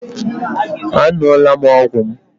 Aṅụla m ọgwụ m